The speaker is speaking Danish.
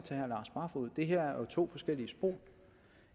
det her jo er to forskellige spor vi